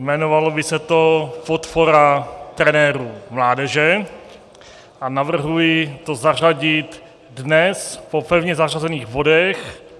Jmenovalo by se to podpora trenérů mládeže a navrhuji to zařadit dnes po pevně zařazených bodech.